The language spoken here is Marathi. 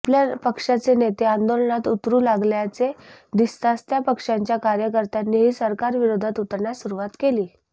आपल्या पक्षाचे नेते आंदोलनात उतरू लागल्याचे दिसताच त्या पक्षांच्या कार्यकर्त्यांनीही सरकारविरोधात उतरण्यास सुरुवात केली